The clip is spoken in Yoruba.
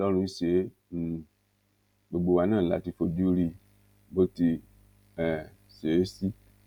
ọlọ́run ṣe é um gbogbo wa náà la ti fojú rí i bó ti um ṣe é sí